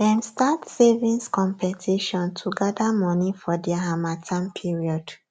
dem start savings competition to gather money for dia harmattan period